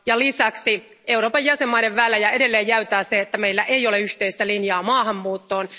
Lisäksi Euroopan unionin jäsenvaltioiden välejä edelleen jäytää se, että meillä ei ole yhteistä linjaa maahanmuuttoon.